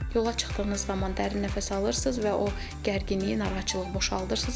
Yola çıxdığınız zaman dərin nəfəs alırsınız və o gərginliyi, narahatçılığı boşaldırsınız.